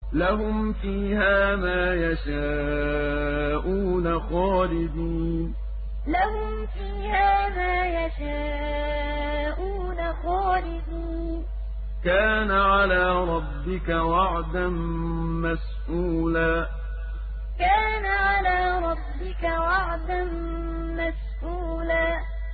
لَّهُمْ فِيهَا مَا يَشَاءُونَ خَالِدِينَ ۚ كَانَ عَلَىٰ رَبِّكَ وَعْدًا مَّسْئُولًا لَّهُمْ فِيهَا مَا يَشَاءُونَ خَالِدِينَ ۚ كَانَ عَلَىٰ رَبِّكَ وَعْدًا مَّسْئُولًا